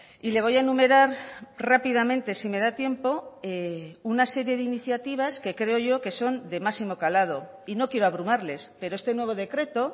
y le voy a enumerar rápidamente si me da tiempo una serie de iniciativas que creo yo que son de máximo calado y no quiero abrumarles pero este nuevo decreto